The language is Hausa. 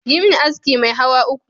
Yimin aski mai hawa uku